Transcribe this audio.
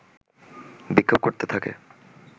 বিক্ষোভ করতে থাকে